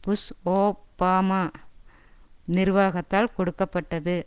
push Obama நிர்வாகத்தால் கொடுக்க பட்டது